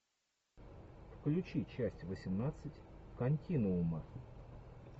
включи часть восемнадцать континуума